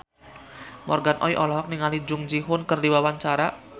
Morgan Oey olohok ningali Jung Ji Hoon keur diwawancara